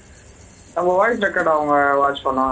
நம்ம voice record அவங்க watch பண்ணுவாங்களா